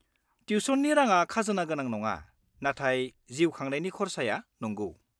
-टिउशननि राङा खाजोना गोनां नङा, नाथाय जिउ खांनायनि खरसाया नंगौ।